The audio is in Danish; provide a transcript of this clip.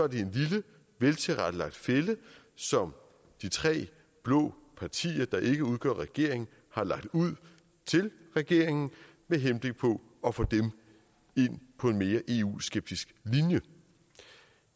det er en lille veltilrettelagt fælde som de tre blå partier der ikke udgør regeringen har lagt ud til regeringen med henblik på at få dem ind på en mere eu skeptisk linje